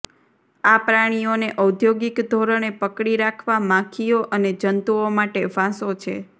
આ પ્રાણીઓને ઔદ્યોગિક ધોરણે પકડી રાખવા માખીઓ અને જંતુઓ માટે ફાંસો છે